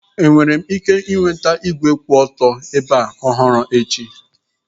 Enwere m ike ịnweta igwe kwụ otu ebe ọhụrụ taa?